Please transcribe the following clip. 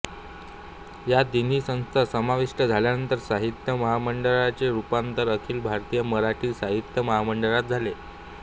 या तिन्ही संस्था समाविष्ट झाल्यानंतर साहित्य महामंडळाचे रूपांतर अखिल भारतीय मराठी साहित्य महामंडळात झाले